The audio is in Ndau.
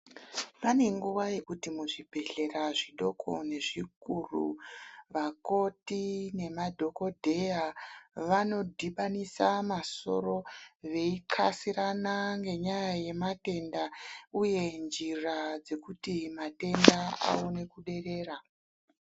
Panenguva yekuti muzvibhedhlera zvidoko nezvikuru vakoti nemadhogodhela vanodhibanisa masoro veixasirana nenyaya yematenda uye njira dzekuti matenda aone kuderera.